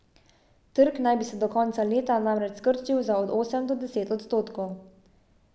Trg naj bi se do konca leta namreč skrčil za od osem do deset odstotkov.